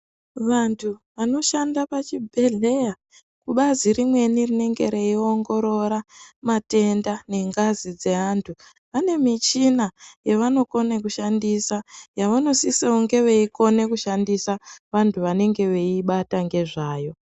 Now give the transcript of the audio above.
Vantu vanoshanda pachibhedhleya kubazi rimweni rinenge reiongorora matenda nengazi dzeanhu, vane michina yavanokone kushandisa yavanosisa kunge veikone kushandisa vantu vanenge veibata ngezvayo.